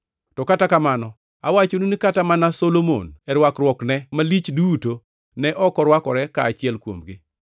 To kata kamano awachonu ni kata mana Solomon e rwakruokne malich duto ne ok orwakore ka achiel kuomgi.